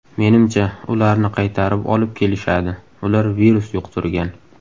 Menimcha, ularni qaytarib olib kelishadi, ular virus yuqtirgan.